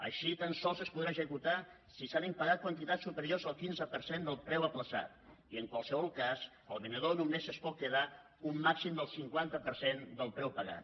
així tan sols es podrà executar si s’han impagat quantitats superiors al quinze per cent del preu aplaçat i en qualsevol cas el venedor només es pot quedar un màxim del cinquanta per cent del preu pagat